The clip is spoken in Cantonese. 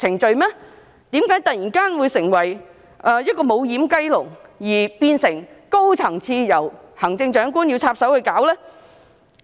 為何會突然成為"無掩雞籠"，變成高層次的問題，需要由行政長官插手解決呢？